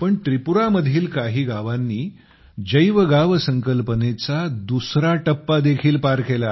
पण त्रिपुरामधील काही गावांनी जैवगाव संकल्पनेचा दुसराटप्पा देखील पार केला आहे